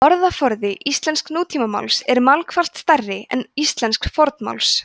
orðaforði íslensks nútímamáls er margfalt stærri en íslensks fornmáls